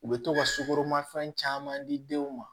U bɛ to ka sukoroma fɛn caman di denw ma